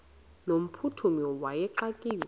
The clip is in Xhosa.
no mphuthumi wayexakiwe